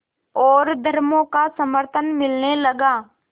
और धर्मों का समर्थन मिलने लगा